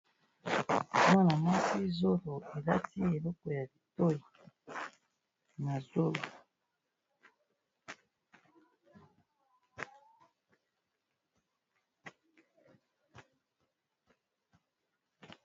Mwana muasi zolo, alati eloko ya litoyi na zolo.